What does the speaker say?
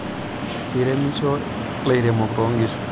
Keiremisho lairemok toonkishu.